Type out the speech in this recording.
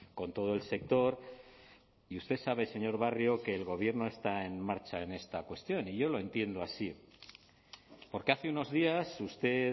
con todo el sector y usted sabe señor barrio que el gobierno está en marcha en esta cuestión y yo lo entiendo así porque hace unos días usted